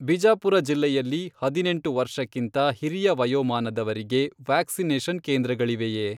ಬಿಜಾಪುರ ಜಿಲ್ಲೆಯಲ್ಲಿ ಹದಿನೆಂಟು ವರ್ಷಕ್ಕಿಂತ ಹಿರಿಯ ವಯೋಮಾನದವರಿಗೆ ವ್ಯಾಕ್ಸಿನೇಷನ್ ಕೇಂದ್ರಗಳಿವೆಯೇ?